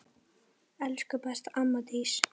Elsku besta amma Dísa.